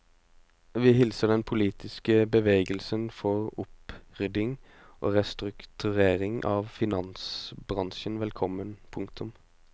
Vi hilser den politiske bevegelsen for opprydding og restrukturering av finansbransjen velkommen. punktum